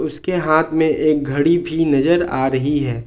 उसके हाथ में एक घड़ी भी नजर आ रही है।